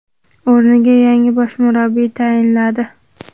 o‘rniga yangi bosh murabbiy tayinladi;.